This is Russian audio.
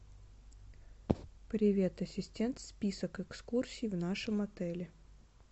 привет ассистент список экскурсий в нашем отеле